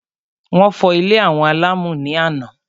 Wọ́n fọ́ ilé àwọn Àlàmú ní àná.